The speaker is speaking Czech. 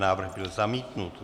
Návrh byl zamítnut.